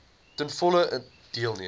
ten volle deelneem